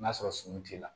N'a sɔrɔ sun t'i la